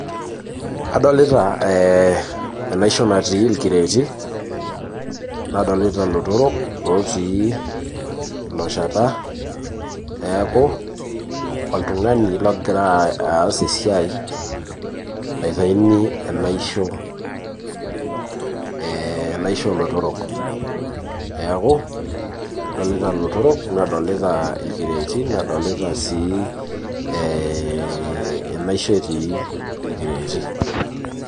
Adolita enaisho natii inkireeti, nadolita lotorok lotii ilo shata, neeku oltung'ani logira aas esiai naitaini enaisho olotorok. Neeku, adolita lotorok nadolita irkireeti nadolita si enaisho etii irkireeti.